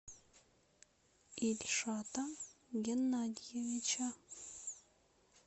ильшата геннадьевича